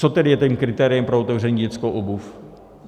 Co tedy je tím kritériem pro otevření dětské obuvi?